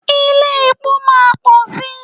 Ilé-epo máa pọ̀ sí.